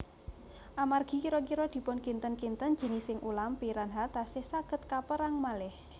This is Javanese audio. Amargi kira kira dipunkinten kinten jinising ulam piranha tasih saged kaperang malih